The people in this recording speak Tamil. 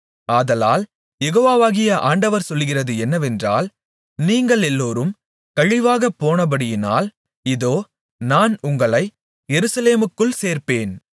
ஆதலால் யெகோவாகிய ஆண்டவர் சொல்லுகிறது என்னவென்றால் நீங்களெல்லாரும் கழிவாகப் போனபடியினால் இதோ நான் உங்களை எருசலேமுக்குள் சேர்ப்பேன்